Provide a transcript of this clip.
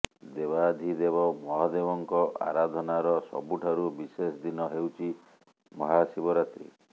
ଦେବାଧିଦେବ ମହାଦେବଙ୍କ ଆରାଧନାର ସବୁଠାରୁ ବିଶେଷ ଦିନ ହେଉଛି ମହାଶିବରାତ୍ରୀ